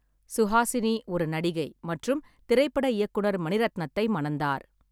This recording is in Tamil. சுஹாசினி ஒரு நடிகை மற்றும் திரைப்பட இயக்குனர் மணிரத்னத்தை மணந்தார்.